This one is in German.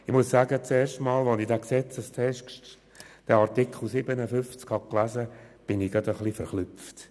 Als ich den Text zu diesem Artikel das erste Mal gelesen habe, bin ich etwas erschrocken.